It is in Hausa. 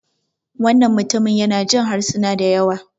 wannan mutum yana Jin harsuna da yawa